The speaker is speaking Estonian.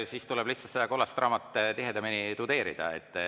Siis tuleb lihtsalt seda kollast raamatut tihedamini tudeerida.